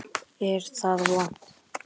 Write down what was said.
Er það vont?